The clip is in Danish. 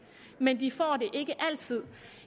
men de får det ikke altid